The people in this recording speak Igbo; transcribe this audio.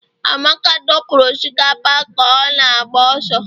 Amaka dọpụrụ osikapa ka ọ na-agba ọsọ